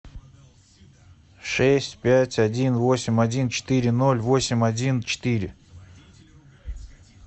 шесть пять один восемь один четыре ноль восемь один четыре